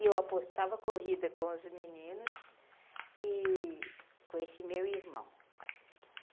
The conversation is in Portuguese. E eu apostava corrida com os meninos e com esse meu irmão.